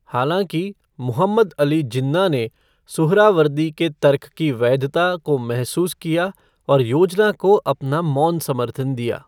हालाँकि, मुहम्मद अली जिन्ना ने सुहरावर्दी के तर्क की वैधता को महसूस किया और योजना को अपना मौन समर्थन दिया।